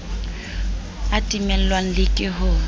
a timellwang le ke ho